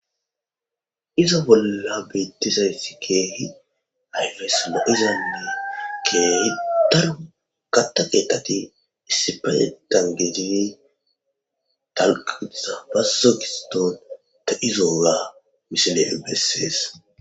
Iza bolla beeththizayssi keehi ayfessi lo7izanne keehi daro kaththa keeththathi issippe dalggidi dalgga gidiza bazzo giddon de7izoogaa misilee bessees.